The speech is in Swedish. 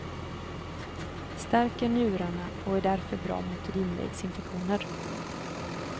Stärker njurarna och är därför bra mot urinvägsinfektioner.